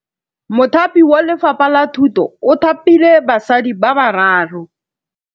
Mothapi wa Lefapha la Thutô o thapile basadi ba ba raro.